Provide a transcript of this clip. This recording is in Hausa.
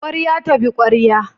Ƙwarya ta bi ƙwarya